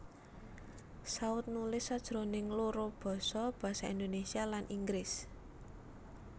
Saut nulis sajroning loro basa Basa Indonesia lan Inggris